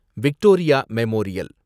Victoria memorial